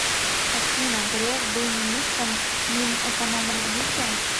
афина греф был министром минэкономразвития